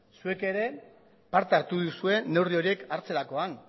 zuek ere parte hartu duzue neurri horiek hartzerakoan